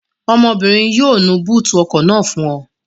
Ọmọbìnrin yóò nu búùtì ọkọ̀ náà fún ọ